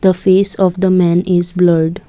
the face of the man is blurred.